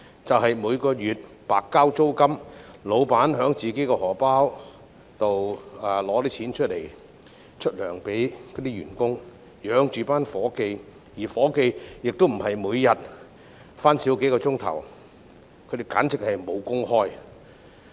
老闆每月白交租金及自掏腰包向員工發薪留住員工，而員工不是每天工作時間減少數小時，而是簡直"無工開"。